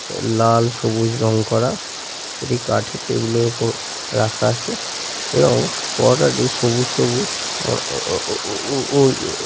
লালসবুজ রং করা একটি কাঠের টেবিলের ওপর রাখা আছে এবং পরোটা টি সবুজ সবুজ ও ও ও ও ও ও --